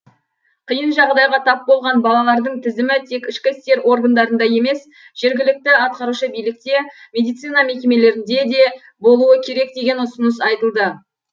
қиын жағдайға тап болған балалардың тізімі тек ішкі істер органдарында емес жергілікті атқарушы билікте медицина мекемелерінде де болуы керек деген ұсыныс айтылды